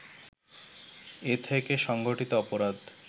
এ থেকে সংগঠিত অপরাধ